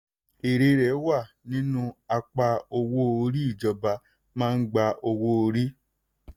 èrè rẹ̀ wà nínú apá owó orí ìjọba máa gba owó orí.